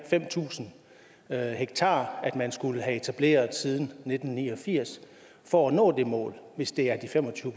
fem tusind ha man skulle have etableret siden nitten ni og firs for at nå det mål hvis det er de fem og tyve